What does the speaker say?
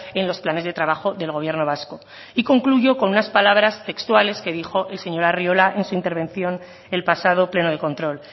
en los planes de trabajo del gobierno vasco y concluyo con unas palabras textuales que dijo el señor arriola en su intervención el pasado pleno de control